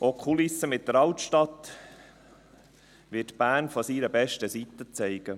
Auch die Kulisse mit der Altstadt wird Bern von seiner besten Seite zeigen.